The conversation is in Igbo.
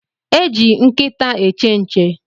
E eji nkịta eche nche